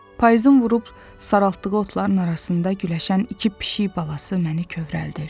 Payızın vurub saraltdığı otların arasında güləşən iki pişik balası məni kövrəldir.